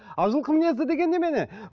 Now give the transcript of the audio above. ал жылқы мінезді деген немене